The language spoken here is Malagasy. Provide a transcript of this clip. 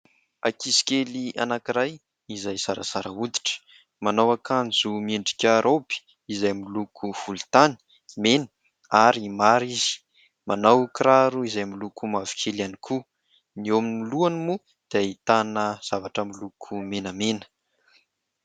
Ankizy kely anankiray izay zarazara hoditra, manao akanjo miendrika roby izay miloko volontany, mena ary mara izy ; manao kiraro izay miloko mavokely ihany koa, ny eo amin'ny lohany moa dia ahitana zavatra miloko menamena.